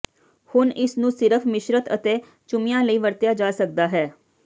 ਹੁਣ ਇਸ ਨੂੰ ਸਿਰਫ ਮਿਸ਼ਰਤ ਅਤੇ ਚੁੰਮਿਆਂ ਲਈ ਵਰਤਿਆ ਜਾ ਸਕਦਾ ਹੈ